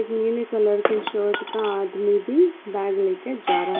नीली कलर के शर्ट का आदमी भी बैग ले के जा रहा--